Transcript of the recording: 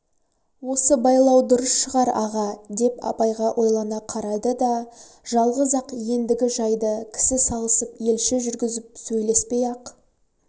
осы байлау дұрыс шығар аға деп абайға ойлана қарады да жалғыз-ақ ендігі жайды кісі салысып елші жүргізіп сөйлеспай-ақ